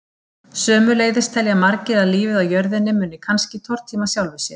Sömuleiðis telja margir að lífið á jörðinni muni kannski tortíma sjálfu sér.